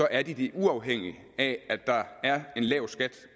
er de det uafhængigt af at der er en lav skat